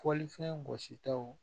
Fɔlifɛn gositaw